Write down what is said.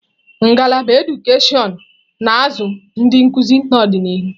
Ngalaba edukashon na-azụ ndị nkuzi n'ọdịnihu.